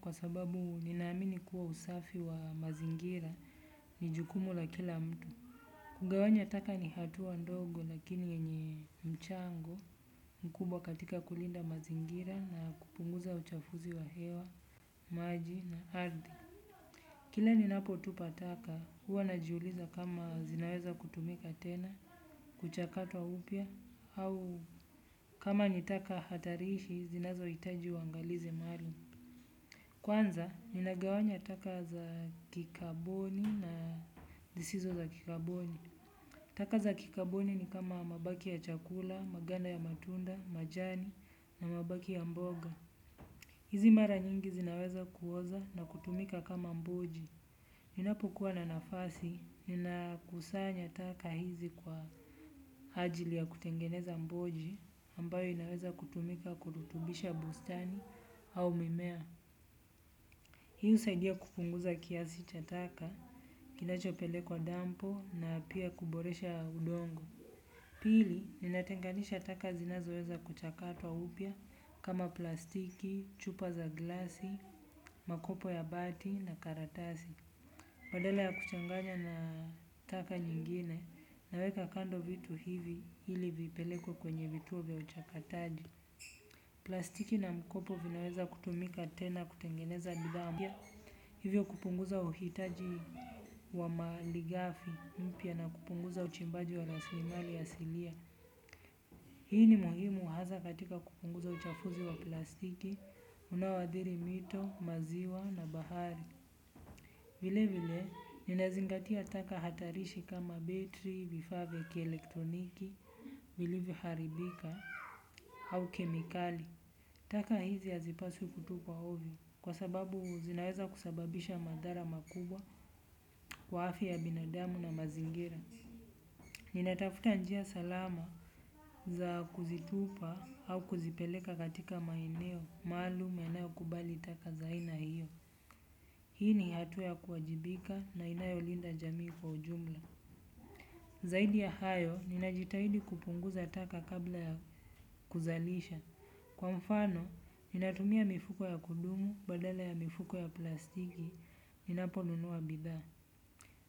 Kwa sababu ninaamini kuwa usafi wa mazingira ni jukumu la kila mtu. Kugawanya taka ni hatua ndogo lakini yenye mchango mkubwa katika kulinda mazingira na kupunguza uchafuzi wa hewa, maji na ardhi. Kila ninapo tupa taka huwa najiuliza kama zinaweza kutumika tena, kuchakatwa upya, au kama ni taka hatariishi zinazoitaji uangalizi maalum kwanza ninagawanya taka za kikabuni na zizizo za kikabuni. Taka za kikaboni ni kama mabaki ya chakula, maganda ya matunda, majani na mabaki ya mboga. Hizi mara nyingi zinaweza kuoza na kutumika kama mboji. Ninapokuwa na nafasi, nina kusanya taka hizi kwa ajili ya kutengeneza mboji ambayo inaweza kutumika kurutubisha bustani au mimea. Hii usaidia kupunguza kiasi cha taka, kinachopelekwa dampo na pia kuboresha udongo. Pili, ninatenganisha taka zinazoweza kuchakatwa upya kama plastiki, chupa za glasi, makopo ya bati na karatasi. Badala ya kuchanganya na taka nyngine naweka kando vitu hivi ili vipelekwe kwenye kituo cha uchakataji. Plastiki na mkopo vinaweza kutumika tena kutengeneza bidhaa. Hivyo kupunguza uhitaji wa mali ghafi mpya na kupunguza uchimbaji wa raslimali asilia. Hii ni muhimu hasa katika kupunguza uchafuzi wa plastiki, unaoadhiri mito, maziwa na bahari. Vile vile, ninazingatia taka hatarishi kama betri, vifaa vya kielektroniki, vilivo haribika au kemikali. Taka hizi hazipaswi kutupwa ovyo kwa sababu zinaweza kusababisha madhara makubwa kwa afya ya binadamu na mazingira. Ninatafuta njia salama za kuzitupa au kuzipeleka katika maeneo, maalum yanayo kubali taka zaa aina hiyo. Hii ni hatua ya kuwajibika na inayolinda jamii kwa ujumla. Zaidi ya hayo, ninajitahidi kupunguza taka kabla ya kuzalisha. Kwa mfano, ninatumia mifuko ya kudumu, badala ya mifuko ya plastiki, ninaponunua bidhaa.